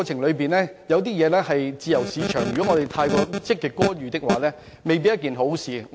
香港是自由市場，過分積極干預未必是一件好事。